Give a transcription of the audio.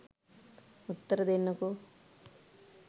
උත්තර දෙන්නකෝ?